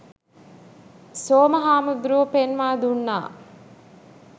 සෝම හාමුදුරුවෝ පෙන්වා දුන්නා.